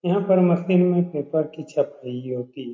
यहाँ पर मशीन में पेपर की छपाई होती --